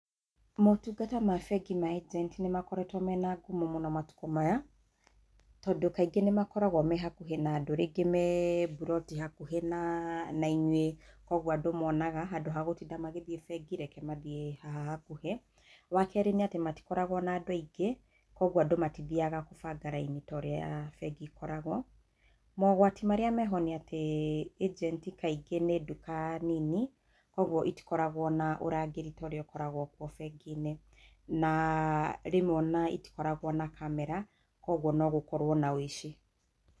Motungata ma bengi ma [cs[ agent nĩ makoretwo mena ngumo mũno matukũ maya, tondũ kaingĩ nĩ makoragwo me hakuhĩ na andũ rĩngĩ me buroti hakuhĩ na nainyuĩ kwoguo andũ monaga handũ ha gũtinda magĩthiĩ bengi reke mathiĩ haha hakuhĩ, wakerĩ nĩ atĩ matĩkoragwo na andũ aingĩ kwoguo andũ matithiaga kũbanga raini to ũrĩa bengi ĩkoragwo, mogwati marĩa meho nĩ atĩ agent kaingĩ nĩ nduka nini koguo itikoragwo na ũrangĩri ta ũrĩa ũkoragwo kuo bengi-inĩ na na rĩmwe itikoragwo na camera kwoguo no gũkorwo na ũici.